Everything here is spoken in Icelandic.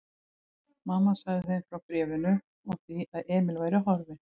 Mamma sagði þeim frá bréfinu og því að Emil væri horfinn.